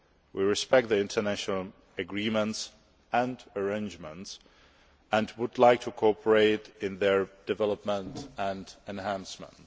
We respect the international agreements and arrangements, and would like to cooperate in their development and enhancement.